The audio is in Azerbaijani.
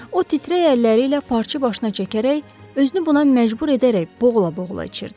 O, titrək əlləri ilə parçı başına çəkərək, özünü buna məcbur edərək boğula-boğula içirdi.